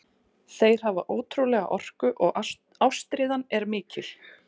Þeir hafa ótrúlega orku og ástríðan er mikil.